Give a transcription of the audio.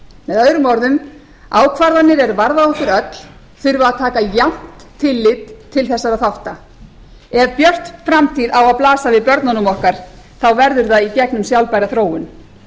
öðrum orðum ákvarðanir er varða okkur öll þurfa að taka jafnt tillit til þessara þátta ef björt framtíð á að blasa við börnunum okkar þá verður það í gegnum sjálfbæra þróun